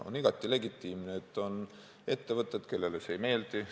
On igati legitiimne, et on ettevõtted, kellele see ei meeldi.